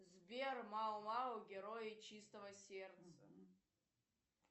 сбер мао мао герои чистого сердца